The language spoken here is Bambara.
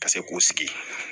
Ka se k'u sigi